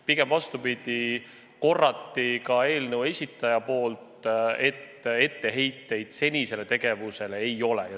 Pigem vastupidi, eelnõu esitaja kinnitas, et etteheiteid senisele tegevusele ei ole.